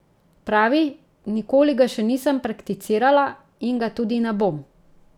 Pravi: 'Nikoli ga še nisem prakticirala in ga tudi ne bom.